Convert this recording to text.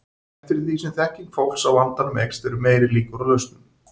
Eftir því sem þekking fólks á vandanum eykst eru meiri líkur á lausnum.